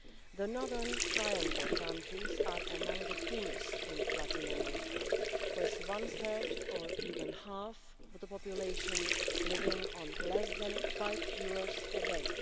The Northern Triangle countries are among the poorest in Latin America with one third, or even half, of the population living on less than EUR 5 a day.